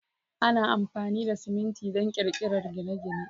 Ana amfani da siminti don ƙirƙirar gine-gine.